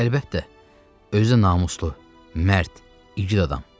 Əlbəttə, özü də namuslu, mərd, igid adam.